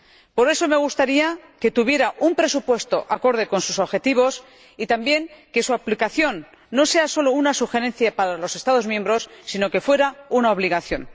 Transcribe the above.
Por eso me gustaría que tuviera un presupuesto acorde con sus objetivos y también que su aplicación no fuera solo una sugerencia para los Estados miembros, sino que fuera una obligación.